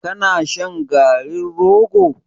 Ka na shan garin rogo?